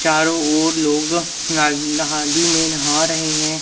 चारों ओर लोग नदी में नहा रहे हैं।